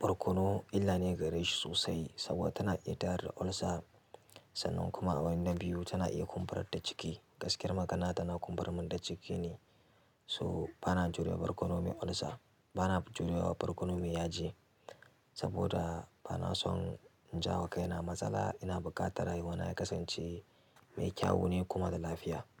Barkono illa ne gare shi sosai saboda tana iya tayar da ulcer. Sannan kuma a wani na biyu tana iya kumburar da ciki. Gaskiyar magana tana kumburar min da ciki ne. So ba na jurewa barkono mai ulcer, ba na jurewa barkono mai yaji saboda ba na son in jawo kaina matsala ina buƙata rayuwana ya kasance mai kyawu ne kuma da lafiya.